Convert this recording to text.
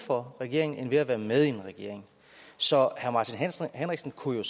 for regeringen end ved at være med i en regering så herre martin henriksen kunne jo